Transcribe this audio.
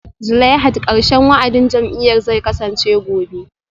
Zulaihat karshen wa'adin jam'iyyar zai kasance gobe